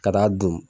Ka taa dun